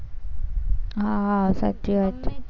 હા સાચી વાત છે.